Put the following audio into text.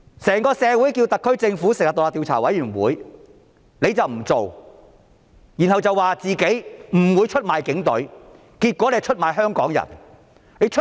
社會要求特區政府成立獨立調查委員會，但她卻不做，然後說自己不會出賣警隊，結果卻出賣香港人。